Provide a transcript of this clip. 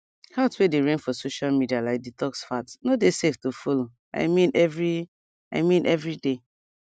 health way dey reign for social media like detox fads no dey safe to follow i mean every i mean every day